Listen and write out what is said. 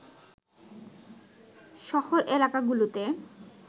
শহর এলাকাগুলোতে